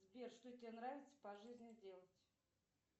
сбер что тебе нравится по жизни делать